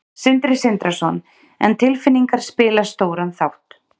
Sindri Sindrason: En tilfinningar spila stóran þátt?